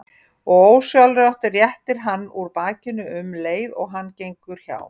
Og ósjálfrátt réttir hann úr bakinu um leið og hann gengur hjá.